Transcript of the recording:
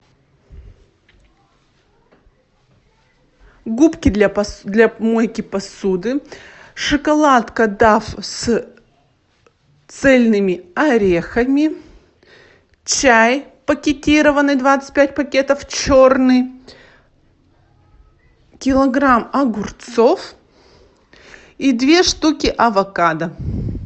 губки для мойки посуды шоколадка дав с цельными орехами чай пакетированный двадцать пять пакетов черный килограмм огурцов и две штуки авокадо